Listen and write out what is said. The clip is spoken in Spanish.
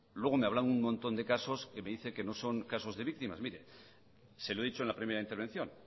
luego me hablaba un montón de casos que me dice que no son casos de víctimas mire se lo he dicho en la primera intervención